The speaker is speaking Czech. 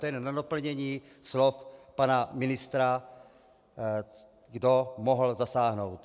To jenom na doplnění slov pana ministra, kdo mohl zasáhnout.